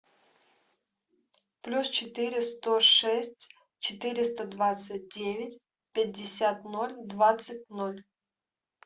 плюс четыре сто шесть четыреста двадцать девять пятьдесят ноль двадцать ноль